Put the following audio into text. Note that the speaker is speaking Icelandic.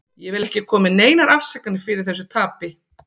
Ég vil ekki koma með neinar afsakanir fyrir þessu tapi.